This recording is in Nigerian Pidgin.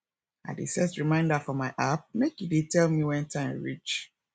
i dey set reminder for my app make e dey tell me wen time reach